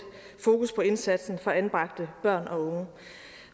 fokus på indsatsen for anbragte børn og unge